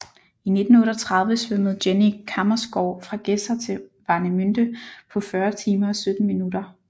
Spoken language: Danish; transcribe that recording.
I 1938 svømmede Jenny Kammersgaard fra Gedser til Warnemünde på 40 timer og 17 minutter